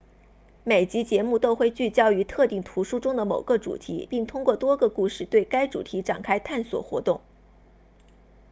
每集节目都会聚焦于特定图书中的某个主题并通过多个故事对该主题展开探索活动